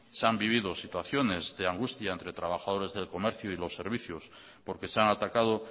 se han vivido situaciones de angustia entre trabajadores del comercio y los servicios porque se han atacado